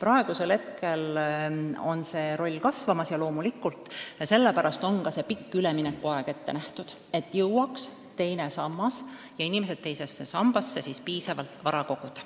Nüüd on see roll kasvamas ja loomulikult sellepärast on ka pikk üleminekuaeg ette nähtud, et inimesed jõuaksid teise sambasse piisavalt vara koguda.